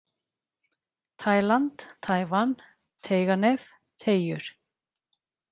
Taíland, Taívan, Teiganef, Teigjur